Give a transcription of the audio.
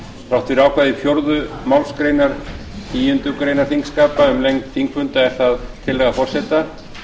þrátt fyrir ákvæði fjórðu málsgreinar tíundu greinar þingskapa um lengd þingfunda er það tillaga forseta